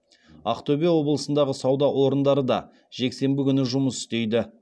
ақтөбе облысындағы сауда орындары да жексенбі күні жұмыс істейді